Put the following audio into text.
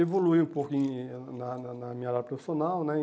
evoluí um pouquinho na na na minha área profissional né.